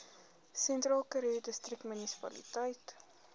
sentraalkaroo distriksmunisipaliteit